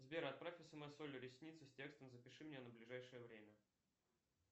сбер отправь смс оле ресницы с текстом запиши меня на ближайшее время